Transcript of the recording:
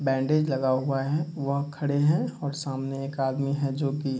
bandage लगा हुआ है वह खड़े हैं और सामने एक आदमी है जो की --